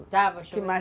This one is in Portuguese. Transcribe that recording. Estava chovendo